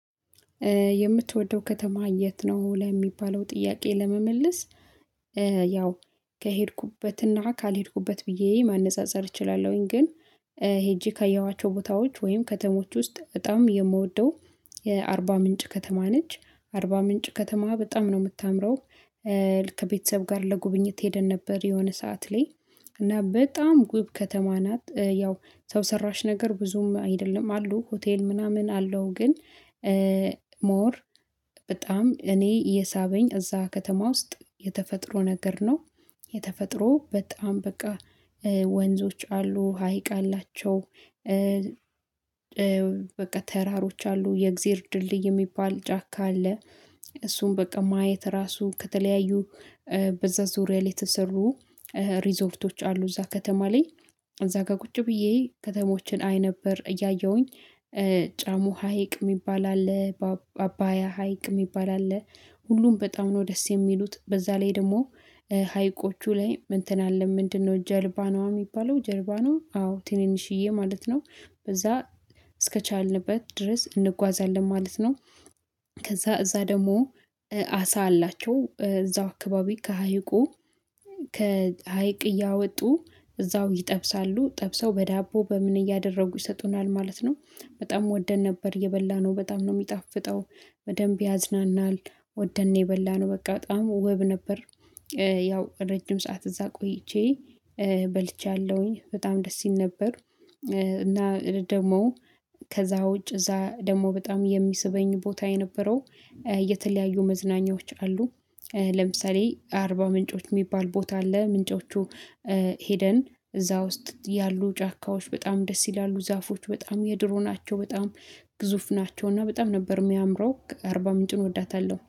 የምትወደው ከተማ የት ነው? ለሚባለው ጥያቄ ለመመለስ ያው ከሄድኩበትና ካልሄድኩበት ብዬ ማነፃፀር እችላለሁኝ። ግን ሄጄ ካየኋቸው ቦታዎች ወይም ከተሞች ውስጥ በጣም የምወደው የ አርባ ምንጭ ከተማ ነች አርባ ምንጭ ከተማ በጣም ነው የምታምረው። ከቤተሰብ ጋር ለጉብኝት ሄደን ነበር የሆነ ሰዓት ላይ እና በጣም ውብ ከተማ ናት። ያው ሰው ሰራሽ ነገር ብዙም አይደለም አሉ ሆቴል ምናምን አለው ግን ሞር በጣም እኔ የሳበኝ እዛ ከተማ ውስጥ የተፈጥሮ ነገር ነው። የተፈጥሮ በጣም በቃ ወንዞች አሉ ሀይቅ አላቸው። በቃ ተራሮች አሉ የእግዚአብሔር ድልድይ የሚባል ጫካ አለ። እሱም በቃ ማየት ራሱ ከተለያዩ በዛ ዙሪያ ላይ የተሰሩ ሪዞርቶች አሉ። እዛ ከተማ ላይ እዛ ጋ ቁጭ ብዬ ከተሞችን አይ ነበር እያየሁኝ። ጫሙ ሀይቅ የሚባል አለ። አባያ ሀይቅ የሚባል አለ። ሁሉም በጣም ነው ደስ የሚሉት በዛ ላይ ደግሞ ሀይቆቹ ላይ እንትን አለ ምንድነው? ጀልባ ነዋ የሚባለው ጀልባ ነው አዎ ትንንሽዬ ማለት ነው። በዛ እስከቻልንበት ድረስ እንጓዛለን ማለት ነው። ከዛ እዛ ደግሞ አሳ አላቸው እዛው አካባቢ ከሀይቁ ከሀይቅ እያወጡ እዛው ይጠብሳሉ ጠብሰው በዳቦ በምን እያደረጉ ይሰጡናል ማለት ነው። በጣም ወደን ነበር የበላነው በጣም ነው የሚጣፍጠው። በደንብ ያዝናናል። ወደን ነው የበላነው በቃ በጣም ውብ ነበር። ያው ረጅም ሰዓት እዛ ቆይቼ በልቻለሁኝ በጣም ደስ ይል ነበር። እና ደግሞ ከዛ ውጭ እዛ ደግሞ በጣም የሚስበኝ ቦታ የነበረው የተለያዩ መዝናኛዎች አሉ። ለምሳሌ አርባ ምንጮች የሚባል ቦታ አለ ምንጮቹ ሄደን እዛ ውስጥ ያሉ ጫካዎች በጣም ደስ ይላሉ ዛፎች በጣም የድሮ ናቸው በጣም ግዙፍ ናቸው። እና በጣም ነበር የሚያምረው አርባ ምንጭን እወዳታለሁ